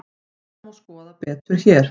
Þetta má skoða betur hér.